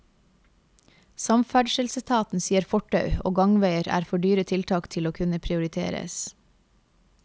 Samferdselsetaten sier fortau og gangveier er for dyre tiltak til å kunne prioriteres.